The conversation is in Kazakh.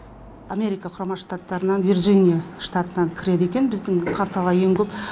америка құрама штаттарынан вирджиния штатынан кіреді екен біздің порталға ең көп